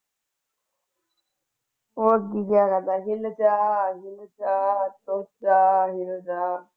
ਹੋਰ ਕਿ ਕਹਿਣਾ ਮੈਂ ਕਹਿਆ ਚਾਹ ਆ ਗਈ ਚਾਹ ਆ ਗਈ ਚਾਹ ਚਾਹ।